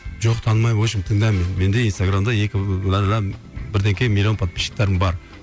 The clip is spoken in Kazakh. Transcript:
жоқ танымаймын в общем тыңда мені менде инстаграмда екі миллион подписчиктерім бар